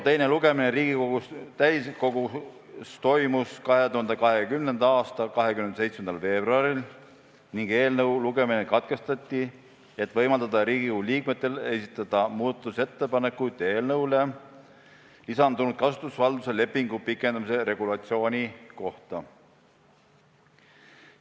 Teine lugemine Riigikogu täiskogus toimus 2020. aasta 27. veebruaril ning eelnõu lugemine katkestati, et võimaldada Riigikogu liikmetel esitada muudatusettepanekuid eelnõusse lisatud kasutusvalduse lepingu pikendamise regulatsiooni kohta.